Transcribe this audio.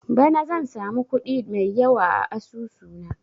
Bana zan samu kuɗi mai yawa a asusu na